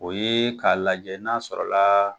O ye k'a lajɛ n'a sɔrɔla la.